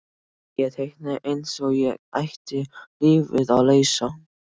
Ég teiknaði eins og ég ætti lífið að leysa.